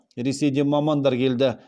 ресейден мамандар келді